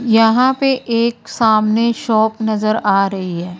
यहां पे एक सामने शॉप नजर आ रही है।